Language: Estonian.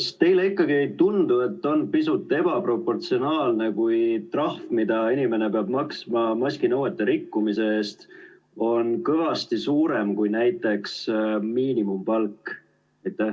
Kas teile ikkagi ei tundu, et on pisut ebaproportsionaalne, kui trahv, mida inimene peab maksma maskinõuete rikkumise eest, on kõvasti suurem kui näiteks miinimumpalk?